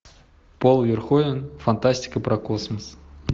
пол верховен фантастика про космос